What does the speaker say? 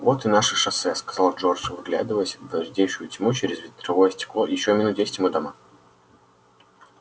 вот и наше шоссе сказал джордж вглядываясь в редеющую тьму через ветровое стекло ещё минут десять мы дома